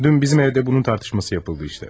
Dünən bizim evdə bunun müzakirəsi aparıldı.